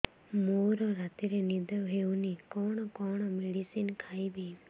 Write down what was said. ମୋର ରାତିରେ ନିଦ ହଉନି କଣ କଣ ମେଡିସିନ ଖାଇବି